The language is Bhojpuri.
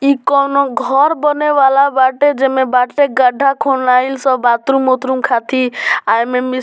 इ कोनो घर बने वाला बाटे जे में बाटे गड्ढा खुनहाइल स बाथरूम उथरूम खातिर एमे मिश --